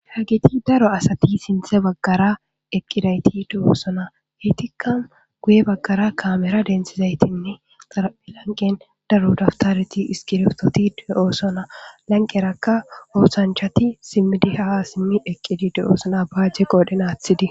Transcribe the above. Hagiti daro asati sinthe baggara eqqidayti du7oosona heytikka guye baggara kaamera densizaytinne xaraphi lanqen daro daftareti iskirtoti de oosona lanqerakka oosanchati simmidi haa simmi eqqidide oosona baajje qoodhen aathidi